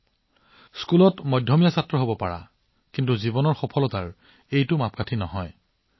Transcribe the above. আপুনি স্কুলত মধ্যমীয়া হব পাৰে কিন্তু এইটো জীৱনত অহা ঘটনাবোৰৰ এক পৰিমাপ নহয়